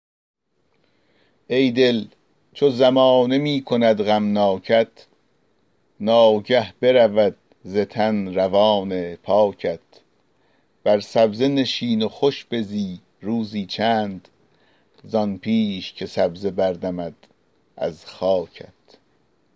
ای دل چو زمانه می کند غمناکت ناگه برود ز تن روان پاکت بر سبزه نشین و خوش بزی روزی چند زآن پیش که سبزه بردمد از خاکت